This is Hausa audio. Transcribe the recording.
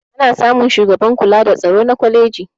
ana samun shugaban kula da tsaro na kwaleji